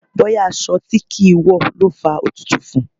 Bóyá aṣọ tí kì ń wọ̀ ló fa òtútù fún.